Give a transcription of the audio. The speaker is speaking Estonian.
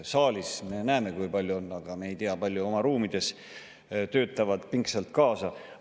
Saalis me näeme, kui palju siin inimesi on, aga me ei tea, kui paljud oma ruumides pingsalt kaasa töötavad.